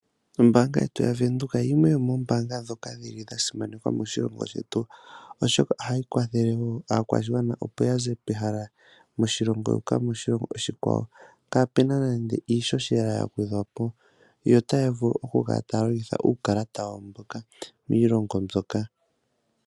Ombaanga yetu ya Venduka yimwe yomoombanga ndhoka dhili simanekwa moshilongo shetu, oshoka ohayi kwathele aakwashigwana opo yaze pehala moshilongo yuuka moshilongo oshikwawo kapena nande iishoshela ya gwedhwapo, yo taya vulu oku longitha uukalata wawo mboka kiilongo mbyoka.